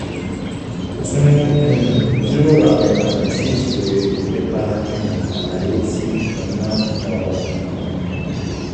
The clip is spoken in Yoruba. tún um jíròrò àwọn ìlànà ti ìṣirò èrè nípa um àlàyé ti ọnà ọrọ̀. um